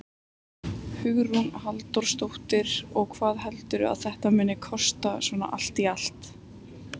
Hugrún Halldórsdóttir: Og hvað heldurðu að þetta muni kosta svona allt í allt?